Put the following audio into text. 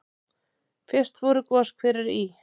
Fyrst voru goshverir í